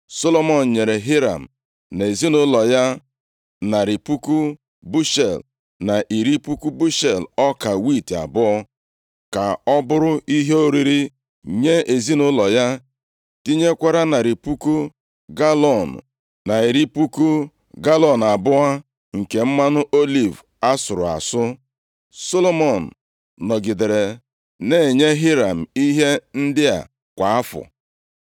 Solomọn nyere Hiram na ezinaụlọ ya narị puku bushel, na iri puku bushel ọka wiiti abụọ, ka ọ bụrụ ihe oriri nye ezinaụlọ ya, tinyekwara narị puku galọọnụ, na iri puku galọọnụ abụọ nke mmanụ oliv asụrụ asụ. Solomọn nọgidere na-enye Hiram ihe ndị a kwa afọ.